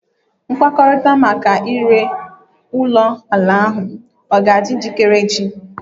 Nkwekọrịta maka ire ulo ala ahu o ga-adị njikere echi?